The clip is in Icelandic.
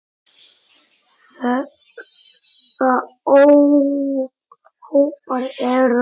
Þessa hópar eru